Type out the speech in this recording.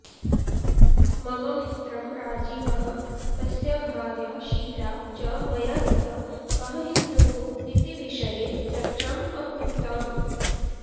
मम मित्रं राजीवः तस्य भार्या शीला च मया सह कः हिन्दुः इति विषये चर्चाम् अकुरुताम्